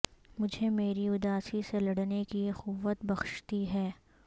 مجھے میری اداسی سے لڑنے کی قوت بخشتی ہے